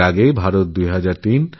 এর আগে ২০০৩ ও